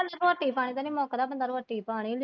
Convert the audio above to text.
ਰੋਟੀ ਪਾਣੀ ਦਾ ਮਸਲਾ ਬੰਦਾ ਰੋਟੀ ਪਾਣੀ।